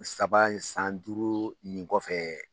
Saba san duuru nin kɔfɛ.